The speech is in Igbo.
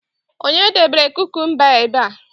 onye debere kukumba a ebe a?